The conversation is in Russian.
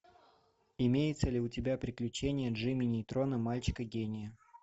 имеется ли у тебя приключения джимми нейтрона мальчика гения